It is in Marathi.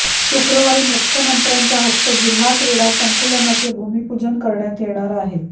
शुक्रवारी मुख्यमंत्र्यांच्या हस्ते जिल्हा क्रिडा संकुलाचे भुमीपूजन करण्यात येणार आहे